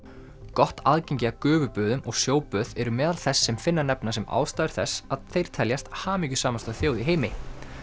gott aðgengi að gufuböðum og eru meðal þess sem Finnar nefna sem ástæður þess að þeir teljast hamingjusamasta þjóð í heimi